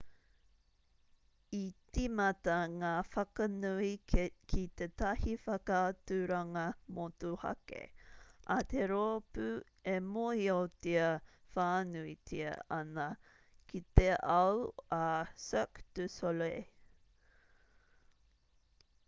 i tīmata ngā whakanui ki tētahi whakaaturanga motuhake a te rōpū e mōhiotia whānuitia ana ki te ao a cirque du soleil